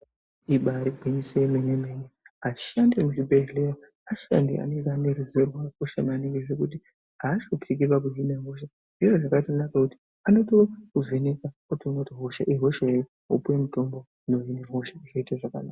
Ibaari gwinyiso yemene-mene, ashandi ekuzvibhedhleya ,ashandi anenge ane ruzivo rwakakosha maningi zvekuti aashupiki pakuhine hosha .Zviro zvakakosha kuone kuti anotokuvheneka otoone kuti hosha iyi ihosha iri ,wopiwe mitombo inohine hosha, zvoite zvakanaka.